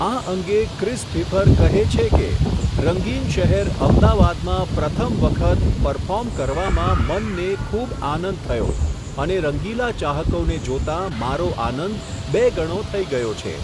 આ અંગે Chris Pfeiffer કહે છે કે, રંગીન શહેર અમદાવાદમાં પ્રથમ વખત, પરફોર્મ કરવામાં મનને ખૂબ આનંદ થયો, અને રંગીલા ચાહકોને જોતા મારો આનંદ, બે ગણો થઇ ગયો છે.